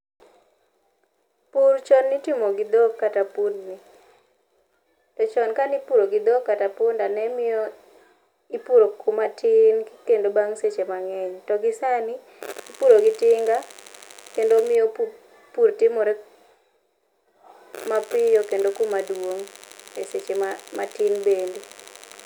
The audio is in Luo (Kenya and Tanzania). Pur chon nitimo gi dhok kata pundni. To chon ka nipuro gi dhok kata punda ne miyo ipuro kuma tin kendo bang' seche mang'eny. To gi sani ipuro gi tinga, kendo miyo pur timore mapiyo kendo kuma duong' e seche matin bende.